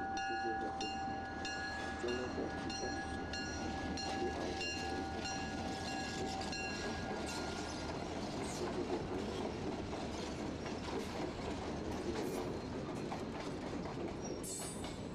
Atikutsetsedzraƒe, ŋutsu aɖe tsatsitre, do awu abɔ lebe, do afɔkpa, atikutsetse vovovowo le gama, aŋuti le gama, apel le gama.